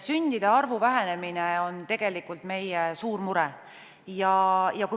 Sündide arvu vähenemine on tegelikult meie suur mure.